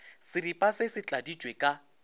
seripa se se tladitšwe ka